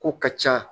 Ko ka ca